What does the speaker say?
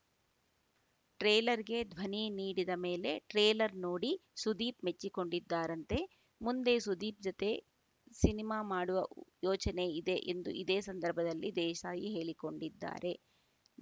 ಟ್ರೇಲರ್‌ಗೆ ಧ್ವನಿ ನೀಡಿದ ಮೇಲೆ ಟ್ರೇಲರ್‌ ನೋಡಿ ಸುದೀಪ್‌ ಮೆಚ್ಚಿಕೊಂಡಿದ್ದಾರಂತೆ ಮುಂದೆ ಸುದೀಪ್‌ ಜತೆ ಸಿನಿಮಾ ಮಾಡುವ ಯೋಚನೆ ಇದೆ ಎಂದು ಇದೇ ಸಂದರ್ಭದಲ್ಲಿ ದೇಸಾಯಿ ಹೇಳಿಕೊಂಡಿದ್ದಾರೆ